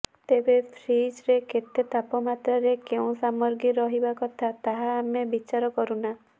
ତେବେ ଫ୍ରିଜ୍ରେ କେତେ ତାପମାତ୍ରାରେ କେଉଁ ସାମଗ୍ରୀ ରହିବା କଥା ତାହା ଆମେ ବିଚାର କରୁନା